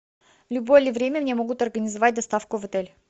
в любое ли время мне могут организовать доставку в отель